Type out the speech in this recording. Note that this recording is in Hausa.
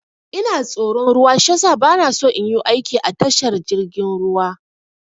Ina tsoron ruwa shiyasa bana so in yu aiki a tashar jirgin ruwa.